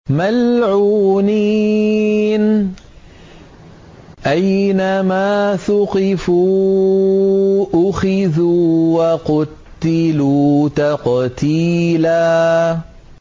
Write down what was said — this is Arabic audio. مَّلْعُونِينَ ۖ أَيْنَمَا ثُقِفُوا أُخِذُوا وَقُتِّلُوا تَقْتِيلًا